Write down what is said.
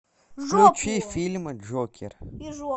включи фильм джокер